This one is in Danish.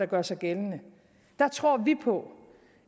gør sig gældende tror vi på